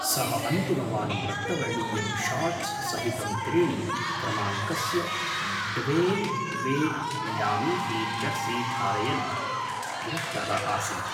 सः अन्तिमवारं रक्तवर्णीयं शॉर्ट्स् सहितं त्रीणि क्रमाङ्कस्य Dwyane Wade Miami Heat jersey धारयन् दृष्टः आसीत्।